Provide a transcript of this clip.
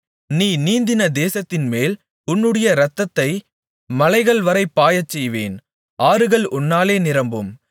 நீ நீந்தின தேசத்தின்மேல் உன்னுடைய இரத்தத்தை மலைகள்வரைப் பாயச்செய்வேன் ஆறுகள் உன்னாலே நிரம்பும்